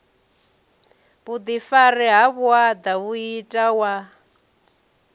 vhuḓifari ha vhuaḓa muiti wa